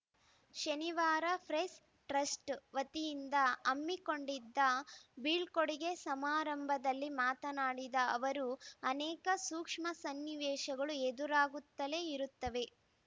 ಶನಿವಾರ press trust ವತಿಯಿಂದ ಹಮ್ಮಿಕೊಂಡಿದ್ದ ಬೀಳ್ಕೊಡಿಗೆ ಸಮಾರಂಭದಲ್ಲಿ ಮಾತನಾಡಿದ ಅವರು ಅನೇಕ ಸೂಕ್ಷ್ಮ ಸನ್ನಿವೇಶಗಳು ಎದುರಾಗುತ್ತಲೇ ಇರುತ್ತವೆ